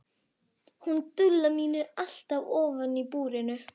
Hún Dúlla mín er alltaf ofan í búrinu.